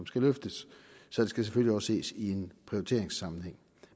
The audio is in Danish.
skal løftes så det skal selvfølgelig også ses i en prioriteringssammenhæng